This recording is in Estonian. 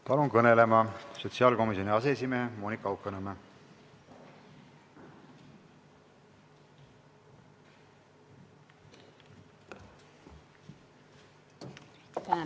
Palun kõnelema sotsiaalkomisjoni aseesimehe Monika Haukanõmme!